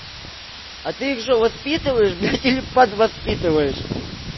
а ты их что воспитываешь или подвоспитываешь